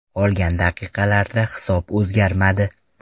Qolgan daqiqalarda hisob o‘zgarmadi.